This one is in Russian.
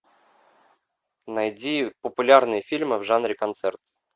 найди популярные фильмы в жанре концерт